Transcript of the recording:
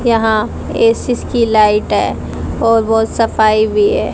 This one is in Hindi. यहां एसीस की लाइट है और वह सफाई भी है।